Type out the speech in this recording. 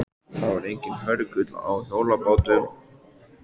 Það var enginn hörgull á hjólabátum.